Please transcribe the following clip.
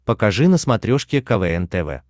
покажи на смотрешке квн тв